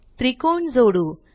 त्रिकोण जोडू